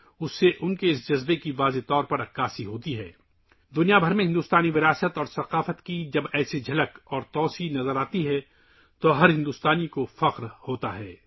ہر ہندوستانی فخر محسوس کرتا ہے جب ہندوستانی وراثت اور ثقافت کی اس طرح کی توسیع پوری دنیا میں دیکھی جاتی ہے